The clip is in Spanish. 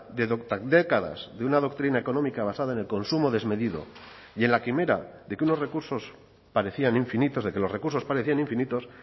de décadas de una doctrina económica basada en el consumo desmedido y en la quimera de que unos recursos parecían infinitos de que los recursos parecían infinitos